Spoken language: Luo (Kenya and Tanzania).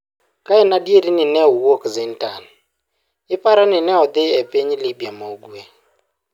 Ka en adier ni ne owuok Zintan, iparo ni ne odhi e piny Libya ma ugwe.